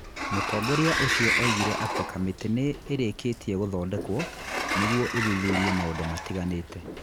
Mũtongoria ũcio oigire atĩ kamĩtĩ nĩ ĩrĩkĩtie gũthondekwo nĩguo ĩthuthurie maũndũ matiganĩte.